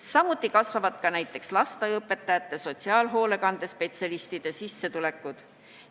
Samuti kasvavad näiteks lasteaiaõpetajate ja sotsiaalhoolekande spetsialistide sissetulekud.